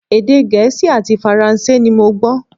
Èdè Gẹ̀ẹ́sì àti Faransé ni mo gbọ́